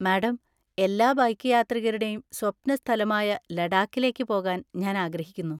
Madam, എല്ലാ bike യാത്രികരുടെയും സ്വപ്ന സ്ഥലമായ ലഡാക്കിലേക്ക് പോകാൻ ഞാൻ ആഗ്രഹിക്കുന്നു.